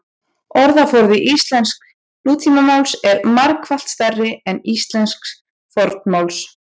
orðaforði íslensks nútímamáls er margfalt stærri en íslensks fornmáls